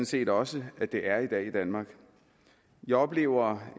set også at det er i dag i danmark jeg oplever